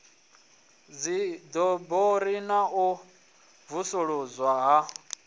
dziḓoroboni na u vusuludzwa ha